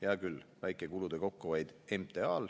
Hea küll, väike kulude kokkuhoid MTA-l.